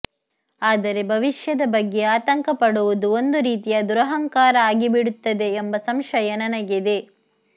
ಆದರೆ ಭವಿಷ್ಯದ ಬಗ್ಗೆ ಆತಂಕ ಪಡುವುದು ಒಂದು ರೀತಿಯ ದುರಹಂಕಾರ ಆಗಿಬಿಡುತ್ತದೆ ಎಂಬ ಸಂಶಯ ನನಗಿದೆ